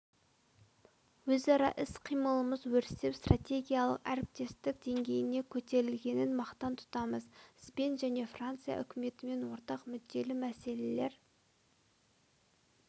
өзара іс-қимылымыз өрістеп стратегиялық әріптестік деңгейіне көтерілгенін мақтан тұтамыз сізбен және франция үкіметімен ортақ мүдделі мәселелер